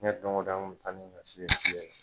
Diɲɛ dɔn ko dɔn an kun bɛ taa ni ɲɔ si ni na fiyɛ ye.